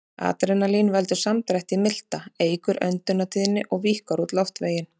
Adrenalín veldur samdrætti í milta, eykur öndunartíðni og víkkar út loftveginn.